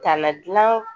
Ka na gilan